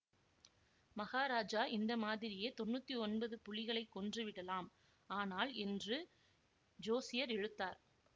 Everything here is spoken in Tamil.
மகாராஜா இந்த மாதிரியே தொன்னூத்தி ஒன்பது புலிகளைக் கொன்று விடலாம் ஆனால் என்று ஜோசியர் இழுத்தார்